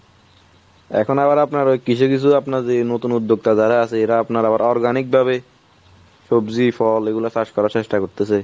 এখন আবার আপনার ওই কিছু কিছু আপনার যে নতুন উদ্যোক্তা যারা এরা আপনার আবার organic ভাবে সবজি, ফল ওগুলা চাষ করার চেষ্টা করতেসে।